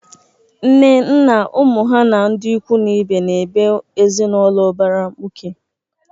Nne, nna, ụmụ ha na ndị ikwu na ibe na-ebe ezinaụlọ ụbara mkpuke.